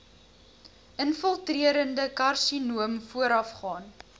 infiltrerende karsinoom voorafgaan